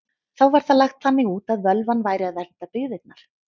Þá var það lagt þannig út að völvan væri að vernda byggðirnar.